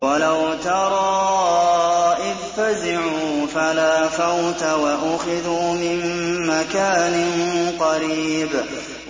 وَلَوْ تَرَىٰ إِذْ فَزِعُوا فَلَا فَوْتَ وَأُخِذُوا مِن مَّكَانٍ قَرِيبٍ